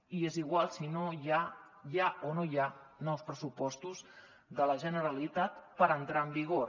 i és igual si hi ha o no hi ha nous pressupostos de la generalitat per entrar en vigor